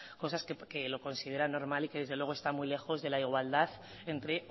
cosas que lo consideran normal y que desde luego está muy lejos de la igualdad entre